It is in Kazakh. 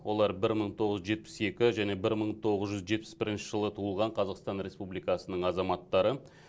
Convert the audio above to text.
олар бір мың тоғыз жүз жетпіс екі және бір мың тоғыз жүз жетпіс бірінші жылы туылған қазақстан республикасының азаматтары